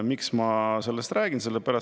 Miks ma sellest räägin?